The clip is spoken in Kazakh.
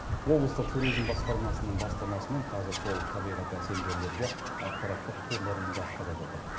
облыстық туризм басқармасының бастамасымен қазір сол табиғаты әсем жерлерге ақпараттық турлар ұйымдастырылып жатыр